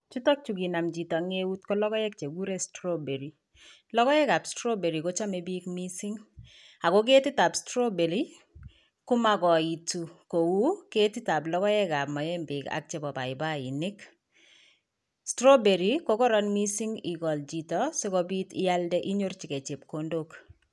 Chutok chukinam chito en eut kekiuren strawberry. Logoek ab strawberry kochome biik missing ako ketit ab strawberry komokoitu kou ketit ab logoek ab moembek ak chebo paipainik. strawberry kokoron missing igol chito sikobit ialde inyorchigei chepkondok.